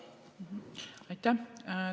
Aitäh!